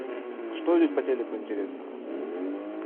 что идет по телеку интересного